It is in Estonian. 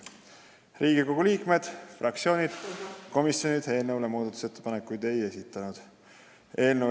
Riigikogu liikmed, fraktsioonid ega komisjonid eelnõu kohta muudatusettepanekuid ei esitanud.